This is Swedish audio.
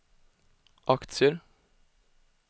aktier